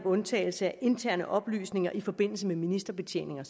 undtagelsen af interne oplysninger i forbindelse med ministerbetjeningen